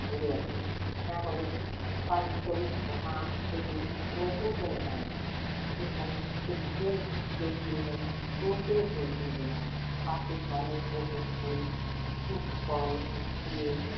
ঘুরে আসা যাবে হ্যাঁ হবে পারুলতলী নৌকা পেরিয়ে নতুন কোন পথ যেখানে টুকুকেও কেউ চিনবে না হুমু কেউ চিনবে না পাখির পালক বকুল ফুল তুত ফল দিয়ে,